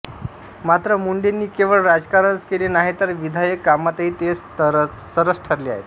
मात्र मुंडेंनी केवळ राजकारणच केले नाही तर विधायक कामातही ते सरस ठरले आहेत